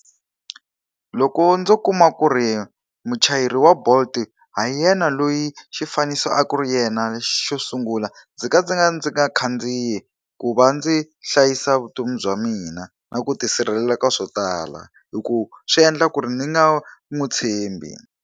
Loko ndzo kuma ku ri muchayeri wa Bolt ha yena loyi xifaniso a ku ri yena xo sungula, ndzi nga ka ndzi nga khandziyi ku va ndzi hlayisa vutomi bya mina na ku tisirhelela ka swo tala. Hi ku swi endla ku ri ni nga n'wi tshembi.